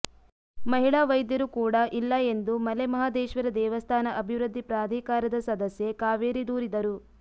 ಮಹಿಳಾ ವೈದ್ಯರು ಕೂಡ ಇಲ್ಲ ಎಂದು ಮಲೆಮಹದೇಶ್ವರ ದೇವಸ್ಥಾನ ಅಭಿವೃದ್ಧಿ ಪ್ರಾಧಿಕಾರದ ಸದಸ್ಯೆ ಕಾವೇರಿ ದೂರಿದರು